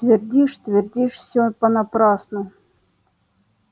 твердишь твердишь все понапрасну